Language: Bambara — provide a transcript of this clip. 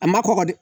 A ma kɔkɔ dɛ